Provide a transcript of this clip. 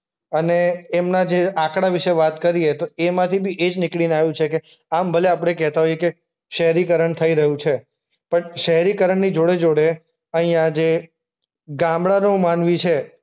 અને એમના જે આંકડા વિશે વાત કરીએ તો એમાંથી બી એ જ નીકળીને આવ્યું છે કે આમ ભલે આપણે કહેતા હોય કે શહેરીકરણ થઈ રહ્યું છે. પણ શહેરીકરણની જોડે-જોડે અહીંયા જે ગામડાંનો માનવી છે